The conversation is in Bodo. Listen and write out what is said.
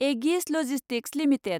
Agassiz logistics limited